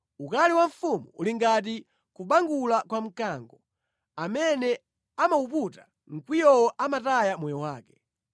Ukali wa mfumu uli ngati kubangula kwa mkango; amene amawuputa mkwiyowo amataya moyo wake.